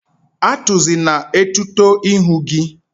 Atuzina etuto ihu gi!